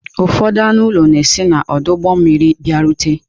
Ụfọdụ anụ ụlọ na si n'ọdụ ụgbọ mmiri bịarute.